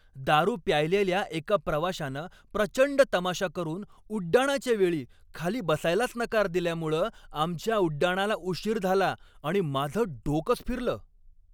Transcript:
दारू प्यायलेल्या एका प्रवाशानं प्रचंड तमाशा करून उड्डाणाच्या वेळी खाली बसायलाच नकार दिल्यामुळं आमच्या उड्डाणाला उशीर झाला आणि माझं डोकंच फिरलं.